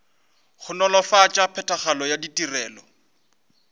go nolofatša phethagatšo ya ditirelo